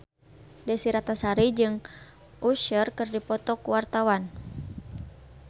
Desy Ratnasari jeung Usher keur dipoto ku wartawan